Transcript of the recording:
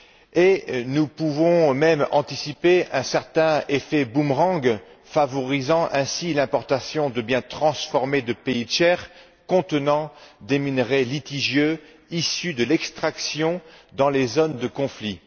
Et nous pouvons même anticiper un certain effet boomerang favorisant ainsi l'importation de biens transformés de pays tiers contenant des minerais litigieux issus de l'extraction dans les zones de conflit.